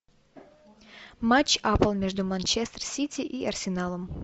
матч апл между манчестер сити и арсеналом